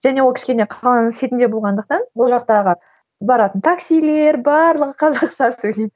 және ол кішкене қаланың шетінде болғандықтан ол жақтағы баратын таксилер барлығы қазақша сөйлейді